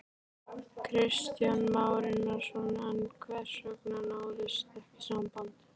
Kristján Már Unnarsson: En hvers vegna náðist ekki saman?